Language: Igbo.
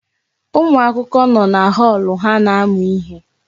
Ụmụ akwụkwọ nọ na họọlụ ha na-amụ ihe.